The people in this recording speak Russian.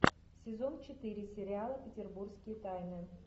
сезон четыре сериала петербургские тайны